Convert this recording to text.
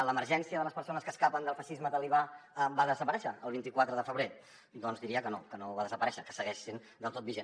l’emergència de les persones que escapen del feixisme talibà va desaparèixer el vint quatre de febrer doncs diria que no que no va desaparèixer que segueix sent del tot vigent